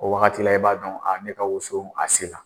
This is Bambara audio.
O wagati la, i b'a dɔn a ne ka woson, a se la.